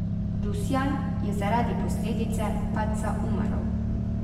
Rusjan je zaradi posledic padca umrl.